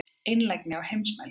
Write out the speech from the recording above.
Einlægni á heimsmælikvarða.